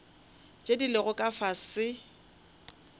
tše di lego ka fase